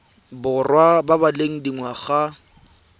borwa ba ba leng dingwaga